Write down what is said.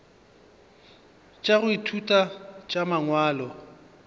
tša go ithuta tša mangwalo